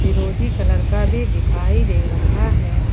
फिरोजी कलर का भी दिखाई दे रहा है।